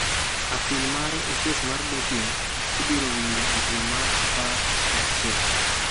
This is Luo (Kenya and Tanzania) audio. Apil mare e kes mar doping, ibiro winjo e dwe mar apar gi achiel.